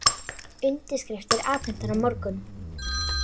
Undirskriftir afhentar á morgun